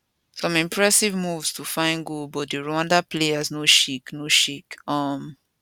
some impressive moves to find goal but di rwanda players no shake no shake um